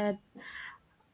ഏർ